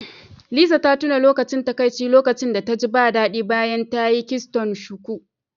Lisa ta tuna lokacin takaici lokacin da taji ba daɗi bayan ta yi kiston shuku